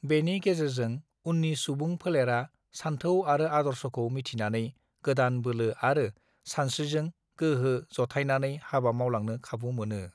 बेनि गेजेरजों उननि सुबुं फोलोरा सानथौ आरो आदर्शखौ मिथिनानै गोदान बोलो आरो सानस्रिजों गोहो जथाइनानै हाबा मावलांनो खाबु मोनो